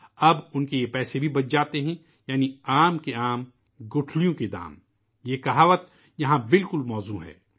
اب اُن کا یہ پیسہ بھی بچ جاتا ہے یعنی آم کے آم ، گٹھلیوں کے دام ، یہ کہاوت یہاں بالکل درست بیٹھتی ہے